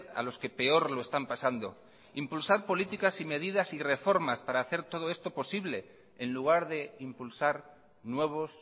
a los que peor lo están pasando impulsar políticas y medidas y reformas para hacer todo esto posible en lugar de impulsar nuevos